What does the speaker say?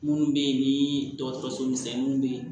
Minnu bɛ yen ni dɔgɔtɔrɔso misɛnninw bɛ yen